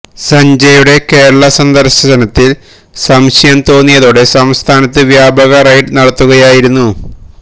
സഞ്ജയുടെ കേരള സന്ദർശനത്തിൽ സംശയം തോന്നിയതോടെ സംസ്ഥാനത്ത് വ്യാപക റെയ്ഡ് നടത്തുകയായിരുന്നു